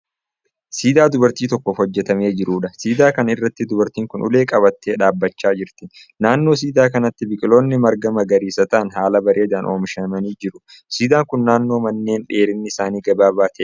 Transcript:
Siidaa dubartii tokkoof hojjetamee jiruudha. Siidaa kana irratti dubartiin kun ulee qabattee dhaabbachaa jirti. Naannoo siidaa kanaatti biqiloonni marga magariisa ta'an haala bareedaan oomishamanii jiru. Siidaan kun naannoo manneen dheerinni isaanii gabaabaa ta'e jira.